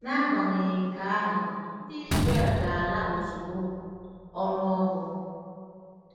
N’agbanyeghị nke ahụ, ndị Izrel ‘ga-ala ozugbo .’—Ọnụ Ọgụ.